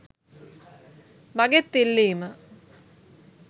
මගෙත් ඉල්ලීම